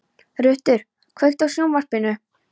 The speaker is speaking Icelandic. Rútur, kveiktu á sjónvarpinu.